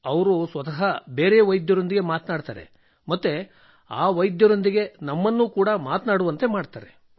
ಅವರು ಸ್ವತಃ ಬೇರೆ ವೈದ್ಯರೊಂದಿಗೆ ಮಾತನಾಡುತ್ತಾರೆ ಮತ್ತು ಆ ವೈದ್ಯರೊಂದಿಗೆ ನಮ್ಮನ್ನು ಮಾತನಾಡುವಂತೆ ಮಾಡುತ್ತಾರೆ